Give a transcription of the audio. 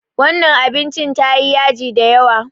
Wannan abincin tayi yaji da yawa.